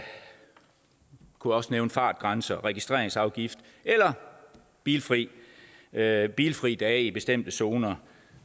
kunne også nævne fartgrænser registreringsafgift eller bilfri dage bilfri dage i bestemte zoner